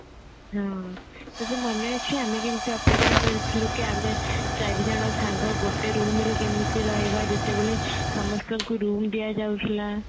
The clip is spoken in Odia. ହଁ ତୋର ମନେ ଅଛି କି ଆମେ କେମତି ଅପେକ୍ଷା କରିଥିଲୁ କି ଆମେ ଚାରିଜଣ ସାଙ୍ଗ ଗୋଟେ room ରେ କେମିତି ରହିବା ଯେତେବେଳେ ସମସ୍ତଙ୍କୁ room ଦିଆଯାଉଥିଲା